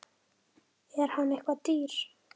Er hann eitthvað dýr?